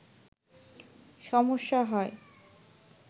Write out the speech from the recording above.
সমস্যা হয়